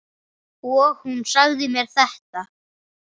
Og hún sagði mér þetta.